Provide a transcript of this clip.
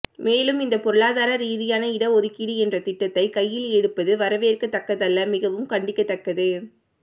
மேலும் இந்த பொருளாதரா ரீதியான இடஒதுக்கீடு என்ற திட்டத்தை கையில் எடுத்திருப்பது வரவேற்க தக்கதல்ல மிகவும் கண்டிக்கத்தக்கது